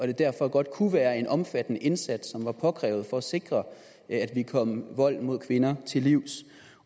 det derfor godt kunne være at en omfattende indsats er påkrævet for at sikre at vi kommer vold mod kvinder til livs